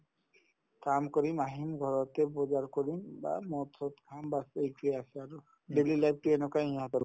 কাম কৰিম আহিম ঘৰতে বজাৰ কৰিম বা মদ-চদ খাম bas এইটোয়ে আছে আৰু daily life তো এনেকুৱায়ে ইহঁতৰ